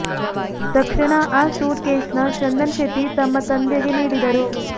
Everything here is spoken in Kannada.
ತಕ್ಷಣ ಆ ಸೂಟ್ ಕೇಸ್ ನ ಚಂದನ್ ಶೆಟ್ಟಿ ತಮ್ಮ ತಂದೆಗೆ ನೀಡಿದರು